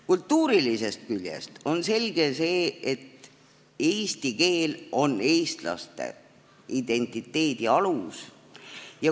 Kultuurilisest küljest on selge see, et eesti keel on eestlaste identiteedi alus.